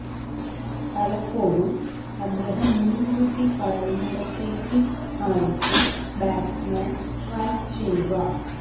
പലപ്പോഴും അദ്ദേഹം മുന്കൂട്ടി പറയുന്നിടത്തേക്ക് ആയിരിക്കും ബാറ്റ്സ്മാന് സ്ട്രൈക്ക് ചെയ്യുക